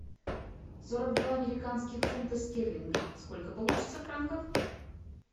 сорок два американских фунтов стерлинга сколько получится франков